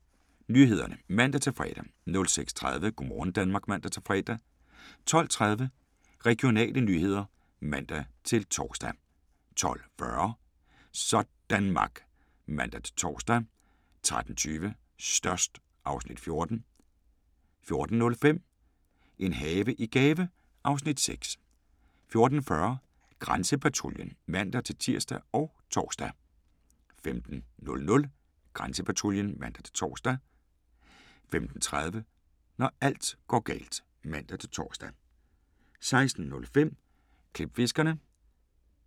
06:00: Nyhederne (man-fre) 06:30: Go' morgen Danmark (man-fre) 12:30: Regionale nyheder (man-tor) 12:40: Sådanmark (man-tor) 13:20: Størst (Afs. 14) 14:05: En have i gave (Afs. 6) 14:40: Grænsepatruljen (man-tir og tor) 15:00: Grænsepatruljen (man-tor) 15:30: Når alt går galt (man-tor) 16:05: Klipfiskerne